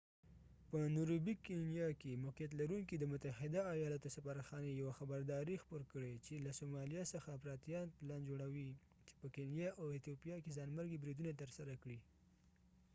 په نيروبې کینیا کي موقعيت لرونکی د متحده ايالاتو سفارت خاتی يوه خبرادارې خپور کړي چي له سومالیا څخه افراطیان پلان جوړاوې چي په کینیا او ایتوپیا کې ځانمرګي بریدونه ترسره کړي